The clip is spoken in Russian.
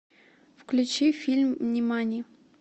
включи фильм нимани